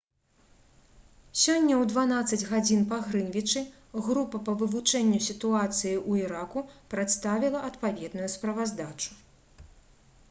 сёння ў 12.00 па грынвічы група па вывучэнню сітуацыі ў іраку прадставіла адпаведную справаздачу